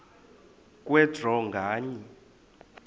kwe draw nganye